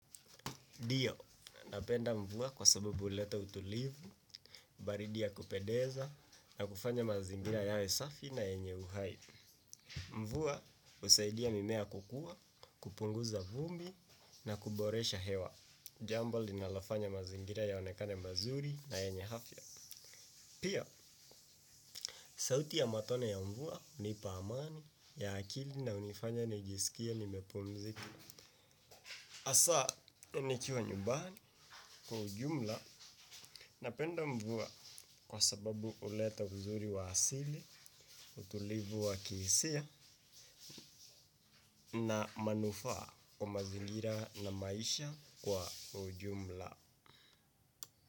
Ndiyo, napenda mvua kwa sababu huleta utulivu, baridi ya kupendeza, na kufanya mazingira yawe safi na yenye uhai. Mvua, usaidia mimea kukua, kupunguza vumbi, na kuboresha hewa. Jambo linalofanya mazingira yaonekane mazuri na yenye afya. Pia, sauti ya matone ya mvua hunipa amani ya akili na hunifanya nijisikie nimepumzika. Hasa nikiwa nyumbani kwa ujumla napenda mvua kwa sababu huleta uzuri wa asili, utulivu wa kihisia na manufaa kwa mazingira na maisha kwa ujumla.